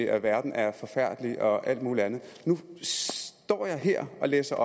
at verden er forfærdelig og alt mulig andet nu står jeg her og læser